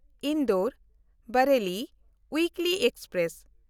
Indore-Bareilly weekly express